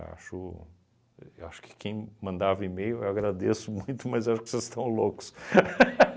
Acho eu acho que quem mandava e-mail, eu agradeço muito, mas acho que vocês estão loucos.